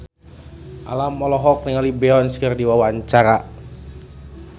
Alam olohok ningali Beyonce keur diwawancara